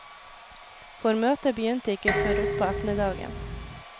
For møtet begynte ikke før utpå ettermiddagen.